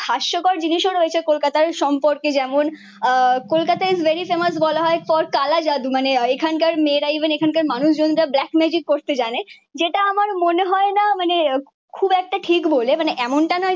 হাস্যকর জিনিসও রয়েছে কলকাতার সম্পর্কে। যেমন আহ কলকাতায় ভেরি ফেমাস বলা হয় ক কালা জাদু। মানে এখানকার মেয়েরা ইভেন এখানকার মানুষজন যা ব্ল্যাক ম্যাজিক করতে জানে। যেটা আমার মনে হয় না মানে খুব একটা ঠিক বলে। মানে এমনটা নয়